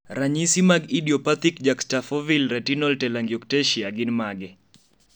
ranyisi mag idiopathic juxtafoveal retinal telangiectasia gin mage?